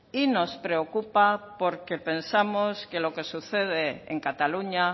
y nos preocupa porque pensamos que lo que sucede en cataluña